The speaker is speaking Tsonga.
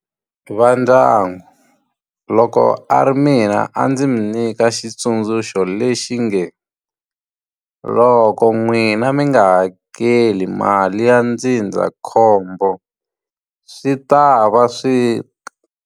Va ndyangu loko a ri mina a ndzi mi nyika xitsundzuxo lexi nge, loko n'wina mi nga hakeli mali ya ndzindzakhombo swi ta va swi .